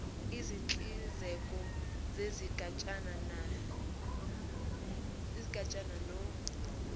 izinhlinzeko zezigatshana no